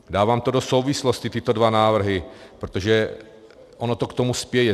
Dávám to do souvislosti, tyto dva návrhy, protože ono to k tomu spěje.